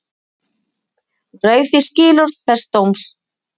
Hann rauf því skilorð þess dóms